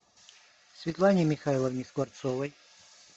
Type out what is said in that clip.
светлане михайловне скворцовой